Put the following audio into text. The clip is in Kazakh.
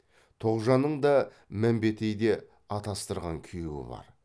тоғжанның да мәмбетейде атастырған күйеуі бар